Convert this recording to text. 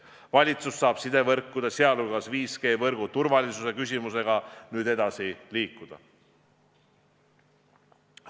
Valitsus saab sidevõrkude, sh 5G võrgu turvalisuse küsimusega nüüd edasi liikuda.